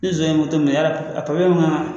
Ni son ye minɛ yarɔ a naa